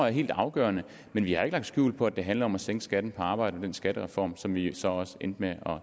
er helt afgørende men vi har ikke lagt skjul på at det handler om at sænke skatten på arbejde med den skattereform som vi jo så også endte med at